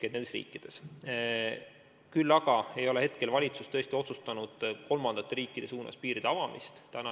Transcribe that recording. Valitsus ei ole tõesti otsustanud kolmandate riikide suunas piiri avamist.